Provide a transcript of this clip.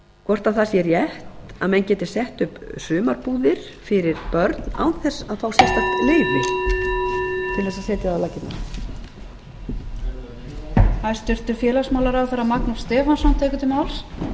hvort það sé rétt að menn geti sett upp sumarbúðir fyrir börn án þess að fá sérstakt leyfi til þess að setja það á laggirnar